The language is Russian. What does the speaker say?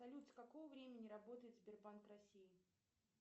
салют с какого времени работает сбербанк россии